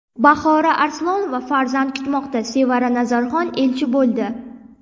Bahora Arslonova farzand kutmoqda, Sevara Nazarxon elchi bo‘ldi.